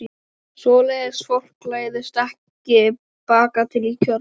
Svoleiðis fólk læðist ekki bakatil í kjörbúð.